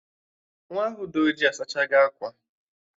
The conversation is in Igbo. Nwaa ahụ dị ojii asachago akwa